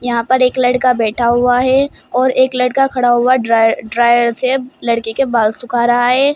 यहां पर एक लड़का बैठा हुआ है और एक लड़का खड़ा हुआ ड्रायर से लड़के के बाल सुखा रहा है।